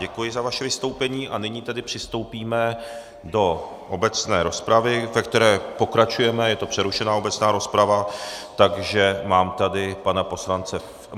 Děkuji za vaše vystoupení a nyní tedy přistoupíme do obecné rozpravy, ve které pokračujeme, je to přerušená obecná rozprava, takže mám tady pana poslance...